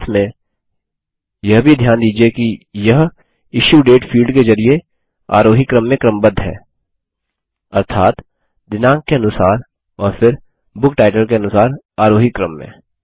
साथ में यह भी ध्यान दीजिये कि यह इश्यू डेट फील्ड के जरिये आरोही क्रम में क्रमबद्ध है अर्थात दिनांक के अनुसार और फिर बुक टाइटल के अनुसार आरोही क्रम में